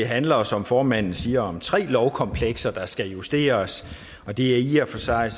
handler som formanden siger om tre lovkomplekser der skal justeres det er i og for sig